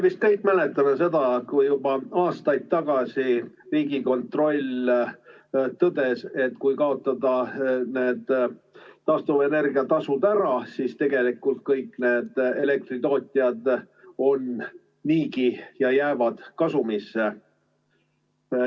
Me vist kõik mäletame, et juba aastaid tagasi Riigikontroll tõdes, et kui kaotada need taastuvenergia tasud ära, siis tegelikult kõik elektritootjad on niigi kasumis ja jäävad kasumisse.